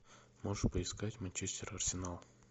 можешь поискать манчестер арсенал